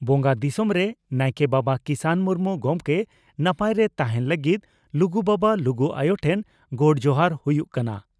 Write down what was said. ᱵᱚᱸᱜᱟ ᱫᱤᱥᱚᱢᱨᱮ ᱱᱟᱭᱠᱮ ᱵᱟᱵᱟ ᱠᱤᱥᱟᱱ ᱢᱩᱨᱢᱩ ᱜᱚᱢᱠᱮ ᱱᱟᱯᱟᱭᱨᱮ ᱛᱟᱦᱮᱸᱱ ᱞᱟᱹᱜᱤᱫ ᱞᱩᱜᱩ ᱵᱟᱵᱟ, ᱞᱩᱜᱩ ᱟᱭᱚ ᱴᱷᱮᱱ ᱜᱚᱰ ᱡᱚᱦᱟᱨ ᱦᱩᱭᱩᱜ ᱠᱟᱱᱟ ᱾